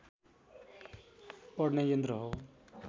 पढ्ने यन्त्र हो